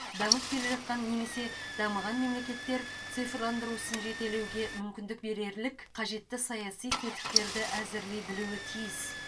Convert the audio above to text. дамып келе жатқан немесе дамыған мемлекеттер цифрландыру ісін жетелеуге мүмкіндік берерлік қажетті саяси тетіктерді әзірлей білуі тиіс